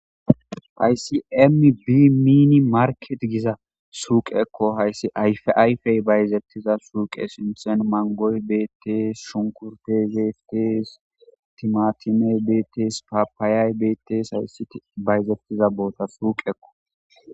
haysi m bi miini market giza suuq ekko hayssi ayfayfey bayzettiza suuqe sinsen mangoy beetees shunkurte zeeftes timatimey betes papaayay betes hayssi bayzettiza boota suuq ekko